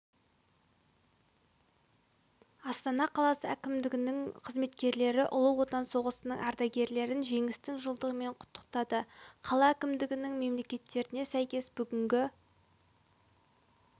астана қаласы әкімдігінің қызметкерлері ұлы отан соғысының ардагерлерін жеңістің жылдығымен құттықтады қала әкімдігінің мәліметтеріне сәйкес бүгінгі